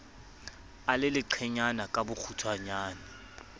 a le leqenyana ka bokgutshwanyane